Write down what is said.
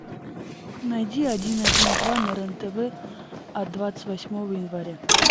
найди один один два на рен тв от двадцать восьмого января